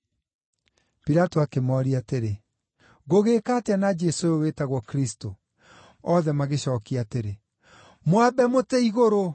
Pilato akĩmooria atĩrĩ, “Ngũgĩĩka atĩa na Jesũ ũyũ wĩtagwo Kristũ?” Othe magĩcookia atĩrĩ, “Mwambe mũtĩ-igũrũ.”